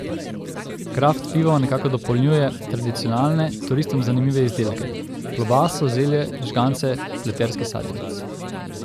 Kraft pivo nekako dopolnjuje tradicionalne, turistom zanimive izdelke, klobaso, zelje, žgance, pleterski sadjevec...